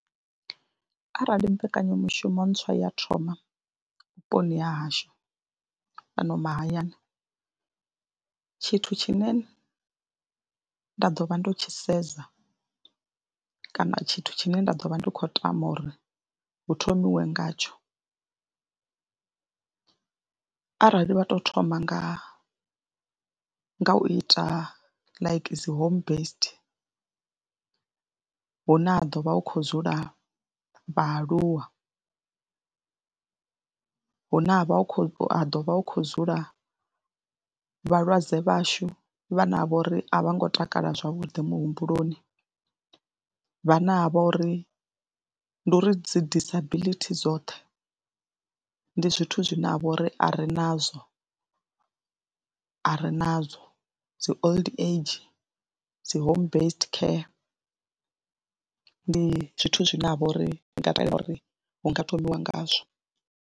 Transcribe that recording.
Arali mbekanyamushumo ntswa ya thoma vhuponi ha hashu fhano mahayani, tshithu tshine nda ḓo vha ndo tshi sedza kana tshithu tshine nda ḓo vha ndi khou tama uri hu thomiwe ngatsho arali vha tou thoma nga nga u ita like dzi home based hune ha ḓo vha hu khou dzula vhaaluwa. Hune ha vha hu khou, ha ḓo vha hu khou dzula vhalwadze vhashu vhane ha vha uri a vho ngo takala zwavhuḓi muhumbuloni, vhane ha vha uri ndi uri dzi disability dzoṱhe ndi zwithu zwine ha vha uri a ri nazwo, a ri nazwo dzi old age, dzi home based care. Ndi zwithu zwine ha vha uri ndi nga takalela uri hu nga thomiwe ngazwo.